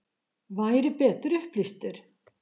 Væri betur upplýstur?